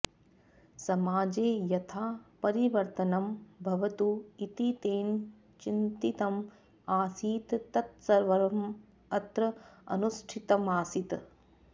समाजे यथा परिवर्तनं भवतु इति तेन चिन्तितम् आसीत् तत्सर्वम् अत्र अनुष्ठितमासीत्